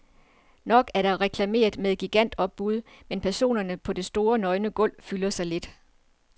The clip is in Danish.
Nok er der reklameret med gigantopbud, men personerne på det store, nøgne gulv fylder så lidt.